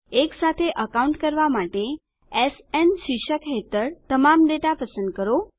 એક સાથે એકાઉન્ટ કરવા માટે એસએન શીર્ષક હેઠળ તમામ ડેટા પસંદ કરો